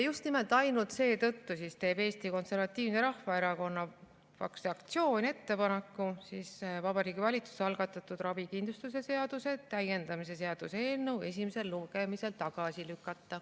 Just nimelt ainult seetõttu teeb Eesti Konservatiivse Rahvaerakonna fraktsioon ettepaneku Vabariigi Valitsuse algatatud ravikindlustuse seaduse täiendamise seaduse eelnõu esimesel lugemisel tagasi lükata.